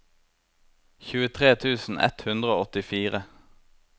tjuetre tusen ett hundre og åttifire